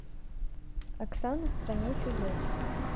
оксана в стране чудес